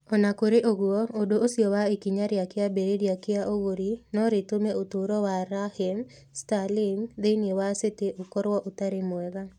O na kũrĩ ũguo, ũndũ ũcio wa ikinya rĩa kĩambĩrĩria kĩa ũgũri no rĩtũme ũtũũro wa Raheem Sterling thĩinĩ wa City ũkorũo ũtarĩ mwega.